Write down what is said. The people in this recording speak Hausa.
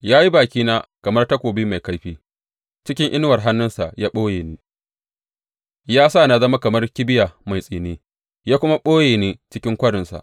Ya yi bakina kamar takobi mai kaifi, cikin inuwar hannunsa ya ɓoye ni; ya sa na zama kamar kibiya mai tsini ya kuma ɓoye ni cikin kwarinsa.